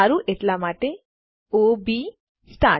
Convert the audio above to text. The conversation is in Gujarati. સારું એટલા માટે ઓ બી સ્ટાર્ટ